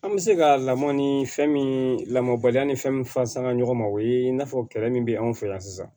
An bɛ se ka lamɔ ni fɛn min lamɔbali ni fɛn min fɔ sanga ɲɔgɔn ma o ye i n'a fɔ kɛlɛ min bɛ anw fɛ yan sisan